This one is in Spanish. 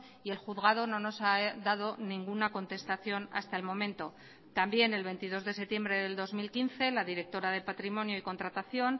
y el juzgado no nos ha dado ninguna contestación hasta el momento también el veintidós de septiembre del dos mil quince la directora de patrimonio y contratación